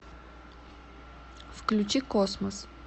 включи космос